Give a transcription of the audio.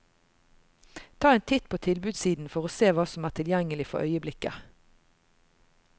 Ta en titt på tilbudssiden for å se hva som er tilgjengelig for øyeblikket.